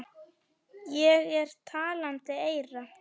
Ég er talandi eyra.